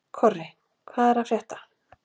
Korri, hvað er að frétta?